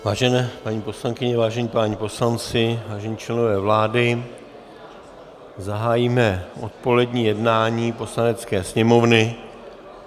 Vážené paní poslankyně, vážení páni poslanci, vážení členové vlády, zahájíme odpolední jednání Poslanecké sněmovny.